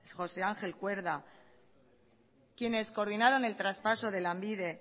josé ángel cuerda quienes coordinaron el traspaso de lanbide